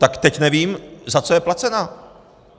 Tak teď nevím, za co je placená.